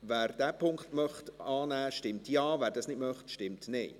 Wer diesen Punkt annehmen möchte, stimmt Ja, wer das nicht möchte, stimmt Nein.